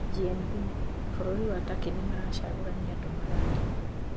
GNB:Bũrũri wa Turkey nimaracagũrania andũ ma rangi